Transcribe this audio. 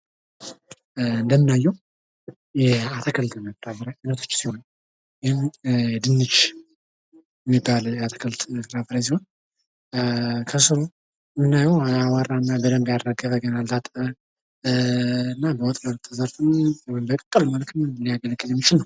እንደምናየው የአትክልት አይነቶች ሲሆን፣ ድንች ሚባል የአትክልት ፍራፍሬ ሲሆን ፤ ከስሩ የምናየው አቡዋራ እና በደንብ ያልተራገፈ፣ ገና ያልታጠበ ፤ በወጥ መልክ ተሰርቶም ወይም በቅቅል መልክ ሊያገለግል የሚችል ነው።